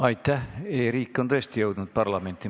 E-riik on tõesti jõudnud parlamenti.